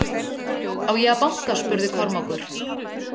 Á ég að banka spurði Kormákur.